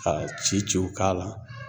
Ka ci ciw k'a la